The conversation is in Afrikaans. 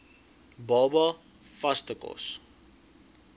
baba vaste kos